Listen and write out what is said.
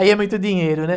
Aí é muito dinheiro, né?